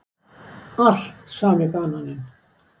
Allt sami bananinn.